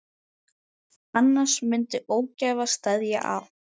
Annars myndi ógæfa steðja að.